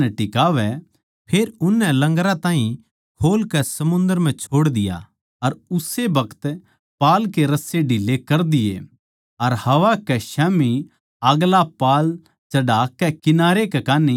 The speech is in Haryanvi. फेर उननै लंगरा ताहीं खोल कै समुन्दर म्ह छोड़ दिया अर उस्से बखत पाल के रस्से ढील्ले कर दिये अर हवा कै स्याम्ही आगला पाल चढ़ाकै किनारै कै कान्ही चाल्ले